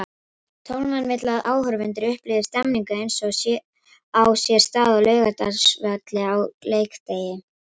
Tólfan vill að áhorfendur upplifi stemningu eins og á sér stað á Laugardalsvelli á leikdegi.